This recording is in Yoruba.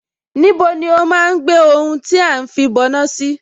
Níbo ni ó máa ń gbé ohun tí à ń fìbọná sí?